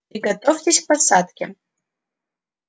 приготовьтесь к посадке